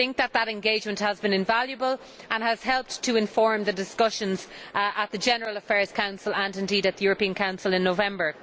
That engagement has been invaluable and has helped to inform the discussions at the General Affairs Council and at the European Council in November.